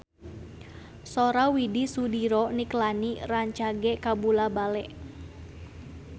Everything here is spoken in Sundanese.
Sora Widy Soediro Nichlany rancage kabula-bale